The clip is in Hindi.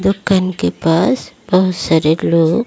दुकान के पास बहुत सारे लोग--